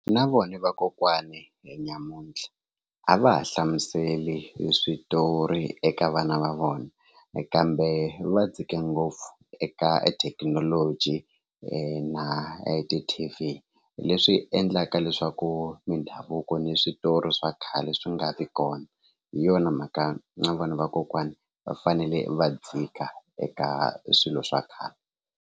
Na vona vakokwani nyamuntlha a va ha hlamuseli switori eka vana va vona kambe va dzike ngopfu eka ethekinoloji na hi ti Tt_v leswi endlaka leswaku mindhavuko ni switori swa khale swi nga vi kona hi yona mhaka na vanhu vakokwani va fanele va dzika eka swilo swa khale.